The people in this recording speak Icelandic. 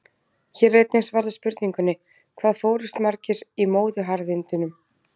Hér er einnig svarað spurningunni: Hvað fórust margir í móðuharðindunum?